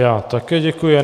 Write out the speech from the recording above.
Já také děkuji.